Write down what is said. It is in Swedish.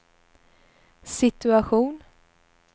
situation